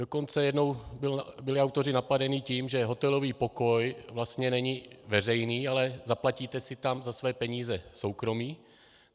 Dokonce jednou byli autoři napadeni tím, že hotelový pokoj vlastně není veřejný, ale zaplatíte si tam za své peníze soukromí.